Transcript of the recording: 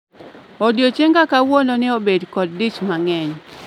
Odiechienga kawuono ne obet kod dich mang'eny